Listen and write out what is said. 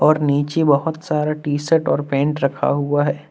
और नीचे बहुत सारा टी शर्ट और पैंट रखा हुआ है।